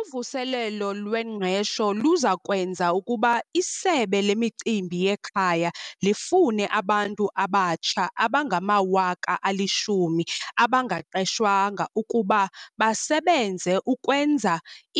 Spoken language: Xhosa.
Uvuselelo lwengqesho luza kwenza ukuba iSebe leMicimbi yeKhaya lifune abantu abatsha abangama-10 000 abangaqeshwanga ukuba basebenze ukwenza